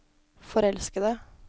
forelskede